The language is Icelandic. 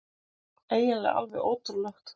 Eiginlega alveg ótrúlegt.